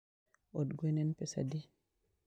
Od gwe en pesadi